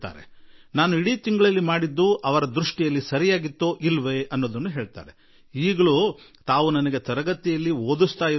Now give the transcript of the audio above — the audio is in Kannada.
ಅಷ್ಟೇ ಅಲ್ಲ ಇಡೀ ತಿಂಗಳಲ್ಲಿ ನಾನು ಏನು ಮಾಡಿದೆ ಅವರ ದೃಷ್ಟಿಯಲ್ಲಿ ಅದು ಸರಿಯಾಗಿ ಇತ್ತೇ ಇಲ್ಲವೇ ಎನ್ನುವ ಸಂಗತಿಗಳನ್ನು ತರಗತಿಯಲ್ಲಿ ಅವರು ನನಗೆ ಪಾಠ ಮಾಡುತ್ತಿದ್ದ ರೀತಿಯಲ್ಲೇ ತಿಳಿಸಿ ಹೇಳುವರು